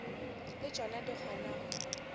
le tšona di kgona go